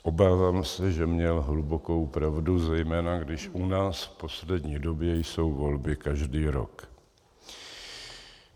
Obávám se, že měl hlubokou pravdu, zejména když u nás v poslední době jsou volby každý rok.